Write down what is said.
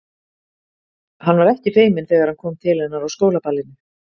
Hann var ekki feiminn þegar hann kom til hennar á skólaballinu.